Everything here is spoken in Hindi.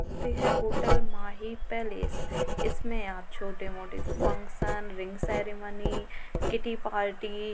होटेल माहि पैलेस इसमें आप छोटे -मोटे function ring ceremony kitty party --